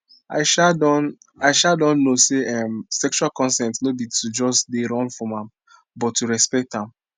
i um don i um don know say um sexual consent no be to just they run from am but to respect am